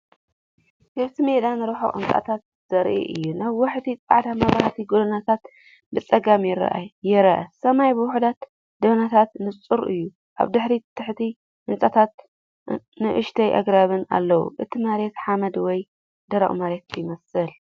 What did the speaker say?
ክፉት ሜዳን ርሑቕ ህንጻታትን ዘርኢ እዩ። ነዋሕቲ ጻዕዳ መብራህቲ ጎደናታት ብጸጋም ይረኣዩ። ሰማይ ብውሑዳት ደበናታት ንጹር እዩ። ኣብ ድሕሪት ትሑት ህንጻታትን ንኣሽቱ ኣግራብን ኣለዉ። እቲ መሬት ሓመድ ወይ ደረቕ መሬት ይመስል።